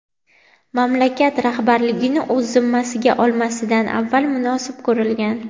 mamlakat rahbarligini o‘z zimmasiga olmasidan avval munosib ko‘rilgan.